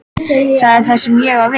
Það er það sem ég á við.